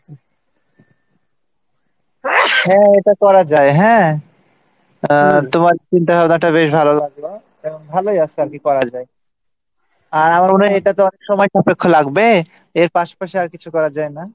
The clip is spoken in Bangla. হ্যাঁ এটা করা যায় হ্যাঁ আর তোমার চিন্তাভাবনাটা বেশ ভালো লাগল ভালোই আসে আর কী করা যায় আর এটা তো একসময় চোখে লাগবে এর পাশাপাশি আর কিছু করা যায় না